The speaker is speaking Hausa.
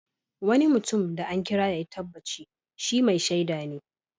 Wani mutum da an kira yayi tabbaci shi " Mai shaida"ne.